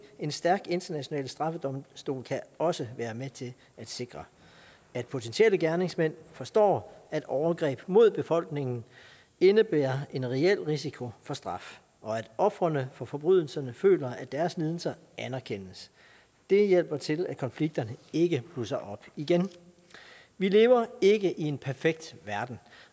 en stærk international straffedomstol kan også være med til at sikre at potentielle gerningsmænd forstår at overgreb mod befolkningen indebærer en reel risiko for straf og at ofrene for forbrydelserne føler at deres lidelser anerkendes det hjælper til at konflikterne ikke blusser op igen vi lever ikke i en perfekt verden